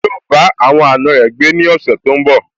Yíò bá àwọn àna rẹ̀ gbé ní ọ̀sẹ̀ tó n bọ̀